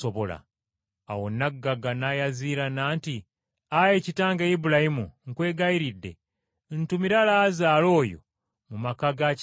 “Awo nnaggagga n’ayaziirana nti, ‘Ayi kitange Ibulayimu, nkwegayiridde ntumira Laazaalo oyo mu maka ga kitange,